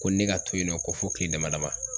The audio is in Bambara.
Ko ne ka to yen nɔ ko fɔ kile dama dama